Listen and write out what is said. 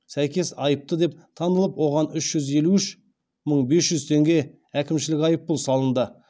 сәйкес айыпты деп танылып оған үш жүз елу үш мың бес жүз теңге әкімшілік айыппұл салынды